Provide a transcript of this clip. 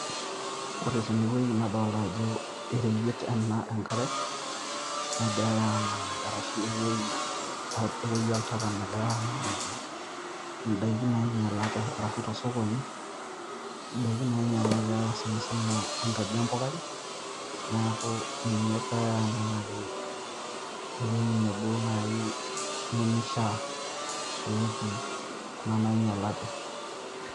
Ore tene weuji nadolita ajo ereyiet ena enk'are egiarae aanang'aki arashu ewueji oltaka nagirae aanang'aki edaiki nainyialate arashu tosokoni idaiki nainyialate sanisana engaji empukai neeku ninye egirae aanang'aki ewuji nebo naaji nemeifaa peetii Kuna nainyialate.